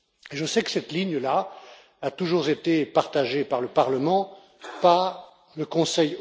Je sais que cette ligne a toujours été partagée par le Parlement et aussi par le Conseil.